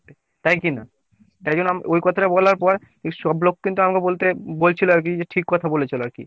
তাই কী না ? তাই জন্য ওই কথাটা বলার পর ওই সব লোক কিন্তু আমাকে বলতে বলছিলো আরকি যে ঠিক কথা বলেছিলে আরকি।